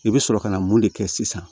I bɛ sɔrɔ ka na mun de kɛ sisan